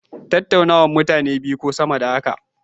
Tattaunawa, hira ce tsakanin mutane biyu ko sama da haka.